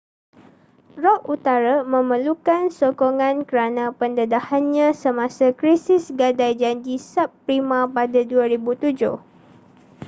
rock utara memerlukan sokongan kerana pendedahannya semasa krisis gadai janji subprima pada 2007